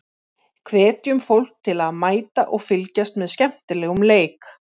Hvetjum fólk til að mæta og fylgjast með skemmtilegum leik.